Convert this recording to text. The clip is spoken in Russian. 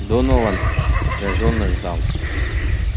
донован напряжённо ждал